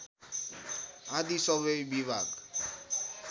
आदि सबै विभाग